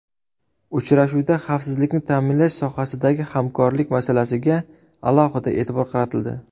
Uchrashuvda xavfsizlikni ta’minlash sohasidagi hamkorlik masalasiga alohida e’tibor qaratildi.